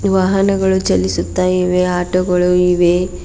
ವಾಹನಗಳು ಚಲಿಸುತ್ತ ಇವೆ ಆಟೋಗಳು ಇವೆ.